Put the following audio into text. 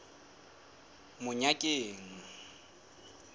monyakeng